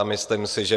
A myslím si, že